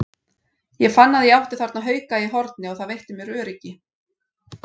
Ég fann að ég átti þarna hauka í horni og það veitti mér öryggi.